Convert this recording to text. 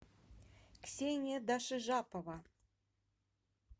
ксения дашижапова